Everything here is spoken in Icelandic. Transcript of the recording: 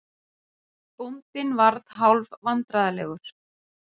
Bóndinn varð hálf vandræðalegur.